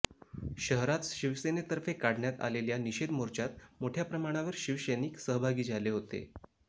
शहरात शिवसेनेतर्फे काढण्यात आलेल्या निषेध मोर्चात मोठ्या प्रमाणावर शिवसैनिक सहभागी झाले होते